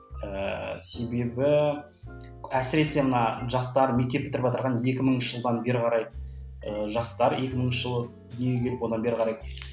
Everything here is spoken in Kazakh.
ііі себебі әсіресе мына жастар мектеп бітіріватырған екі мыңыншы жылдан бері қарай ыыы жастар екі мыңыншы жылы дүниеге келіп одан бері қарай